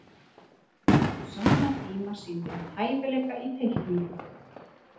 á sama tíma sýndi hann hæfileika í teikningu